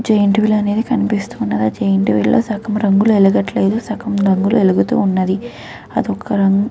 giant wheel అనేది కనిపిస్తుంది ఆ జైన్ట్ వీల్ లో సగం రంగులు వెలగట్లేదు సగం వెలుగుతుంది అది ఒక --